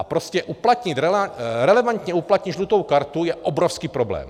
A prostě relevantně uplatnit žlutou kartu je obrovský problém.